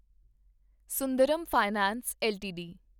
Sundaram finance LTD